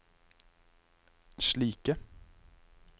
slike